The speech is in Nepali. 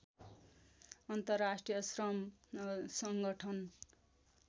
अन्तर्राष्ट्रिय श्रम सङ्गठन